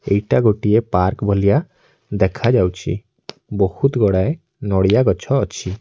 ଏଇଟା ଗୋଟିଏ ପାର୍କ ବଲିଆ ଦେଖାଯାଉଛି। ବୋହୁତ ଗୁଡ଼ାଏ ନଡ଼ିଆ ଗଛ ଅଛି।